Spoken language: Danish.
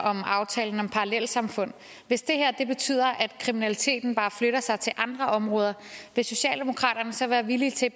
om aftalen om parallelsamfund hvis det her betyder at kriminaliteten bare flytter sig til andre områder vil socialdemokraterne så være villige til